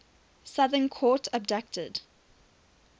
southern court abducted